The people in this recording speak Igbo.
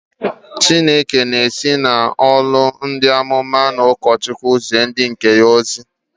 Chineke na-esi n'ọnụ ndị amụma na ndị ụkọchukwu zie ndị nke ya ozi.